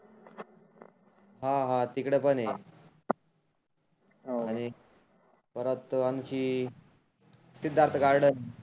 हा हा तिकडं पण आहे. परत आनखी सिद्धार्थ गार्डन